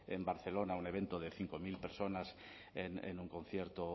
en barcelona un evento de cinco mil personas en un concierto